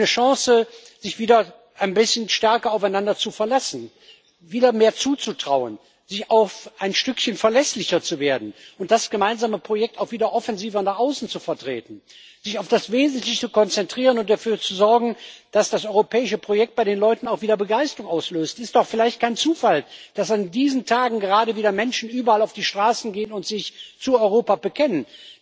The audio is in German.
Eine Chance, sich wieder ein bisschen stärker aufeinander zu verlassen, sich wieder mehr zuzutrauen, auch ein Stückchen verlässlicher zu werden und das gemeinsame Projekt auch wieder offensiver nach außen zu vertreten, sich auf das Wesentliche zu konzentrieren und dafür zu sorgen, dass das europäische Projekt bei den Leuten auch wieder Begeisterung auslöst. Es ist doch vielleicht kein Zufall, dass in diesen Tagen gerade wieder Menschen überall auf die Straßen gehen und sich zu Europa bekennen.